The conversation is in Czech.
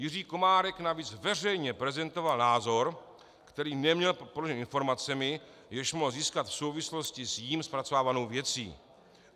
Jiří Komárek navíc veřejně prezentoval názor, který neměl podložen informacemi, jež mohl získat v souvislosti s jím zpracovávanou věcí.